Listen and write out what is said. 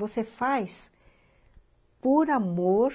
Você faz por amor